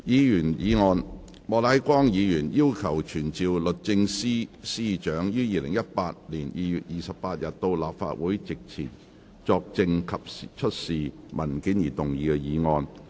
議員議案：莫乃光議員要求傳召律政司司長於2018年2月28日到立法會席前作證及出示文件而動議的議案。